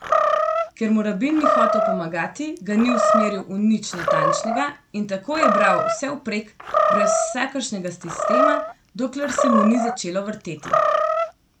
Ker mu rabin ni hotel pomagati, ga ni usmeril v nič natančnega, in tako je bral vsevprek, brez vsakršnega sistema, dokler se mu ni začelo vrteti.